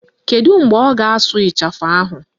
Kedu mgbe ọ ga-asụ ịchafụ ahụ?